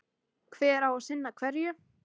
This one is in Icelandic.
Hver á að sinna hverju?